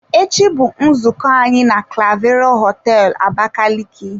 Echi bụ nzukọ anyị na clavero hoteelu Abakaliki.